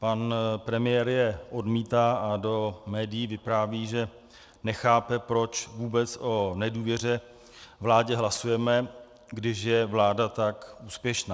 Pan premiér je odmítá a do médií vypráví, že nechápe, proč vůbec o nedůvěře vládě hlasujeme, když je vláda tak úspěšná.